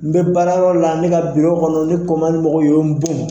N bɛ baarayɔrɔ la ne ka kɔnɔ ne ko man di mɔgɔw ye u ye n bon.